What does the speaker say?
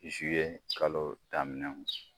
kalo daminɛw.